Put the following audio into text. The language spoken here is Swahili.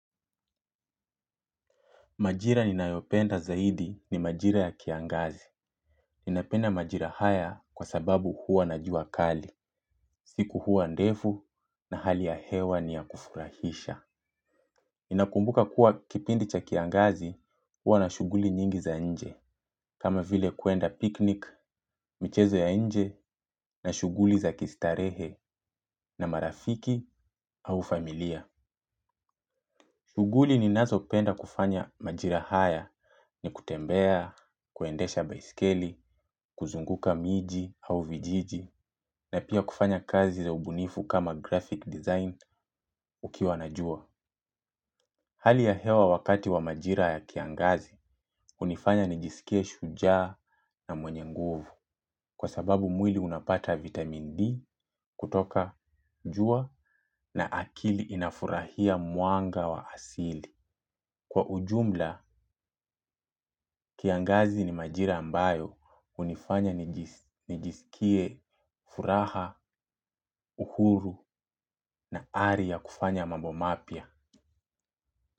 Majira ninayopenda zaidi ni majira ya kiangazi. Ninapenda majira haya kwa sababu huwa na jua kali. Siku huwa ndefu na hali ya hewa ni ya kufurahisha. Ninakumbuka kuwa kipindi cha kiangazi huwa na shughuli nyingi za nje. Kama vile kuenda picnic michezo ya nje na shughuli za kistarehe na marafiki au familia. Shughuli ninazopenda kufanya majira haya ni kutembea, kuendesha baiskeli, kuzunguka miji au vijiji na pia kufanya kazi za ubunifu kama graphic design ukiwa na jua. Hali ya hewa wakati wa majira ya kiangazi hunifanya nijisikie shujaa na mwenye nguvu. Kwa sababu mwili unapata vitamin D kutoka jua na akili inafurahia mwanga wa asili kwa ujumla kiangazi ni majira ambayo hunifanya nijisikie furaha, uhuru na ari ya kufanya mambo mapya.